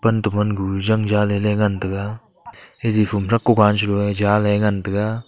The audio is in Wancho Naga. atte bangu zangza leley ngantaga jaji phumthak kogan jo ee jahley ngantaga.